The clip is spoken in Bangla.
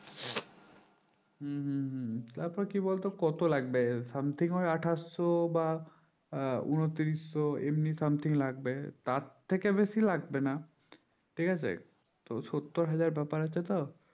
হুম হুম হুম তার পর কি বলতো কত লাগবে something হয় আঠাশ শো বা আহ ঊনত্রিশ শো এমনি something লাগবে তার থেকে বেশি লাগবে না ঠিক আছে তো শোত্তর হাজার ব্যাপার আছে তো